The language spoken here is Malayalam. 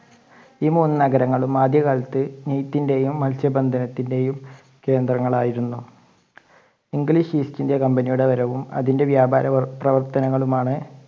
ഈ മൂന്ന് നഗരങ്ങളും ആദ്യ കാലത്ത് നെയ്ത്തിൻ്റെയും മത്സ്യബന്ധനത്തിന്റെയും കേന്ദ്രങ്ങൾ ആയിരുന്നു. ഇംഗ്ലീഷ് East India Company യുടെ വരവും അതിൻ്റെ വ്യാപാരം പ്രവർത്തനങ്ങളും ആണ്